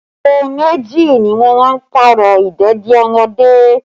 Aago méjì ni mo máa Pààrọ̀ ìdèdí ọmọdé